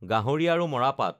গাহৰি আৰু মৰাপাট